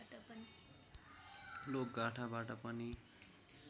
लोकगाथाबाट पनि